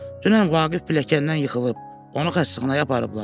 Dünən Vaqif biləkdən yıxılıb, onu xəstəxanaya aparıblar.